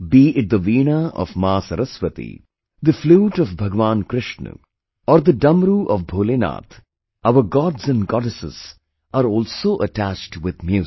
Be it the Veena of Maa Saraswati, the flute of Bhagwan Krishna, or the Damru of Bholenath, our Gods and Goddesses are also attached with music